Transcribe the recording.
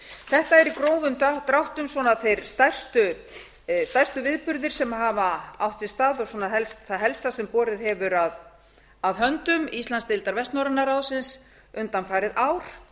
þetta eru í grófum dráttum stærstu viðburðir sem hafa átt sér stað og það helsta sem borið hefur að höndum íslandsdeildar vestnorræna ráðsins undanfarið ár